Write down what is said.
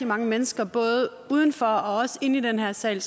mange mennesker både uden for og i den her sal